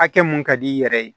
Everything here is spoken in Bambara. Hakɛ mun ka di i yɛrɛ ye